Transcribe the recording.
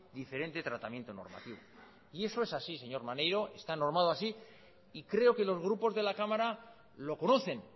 diferente tratamiento normativo y eso es así señor maneiro está normado así y creo que los grupos de la cámara lo conocen